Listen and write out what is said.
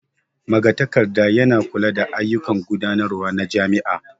Magatakarda yana kula da ayyukan gudanarwa na jami'a.